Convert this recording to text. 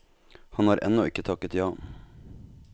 Han har ennå ikke takket ja.